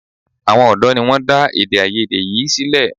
Àwọn ọ̀dọ́ ni wọ́n dá èdè-áiyedé yìí sílẹ̀.